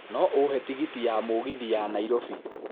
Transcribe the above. no ũhe tigiti ya mũgithi ya Nairobi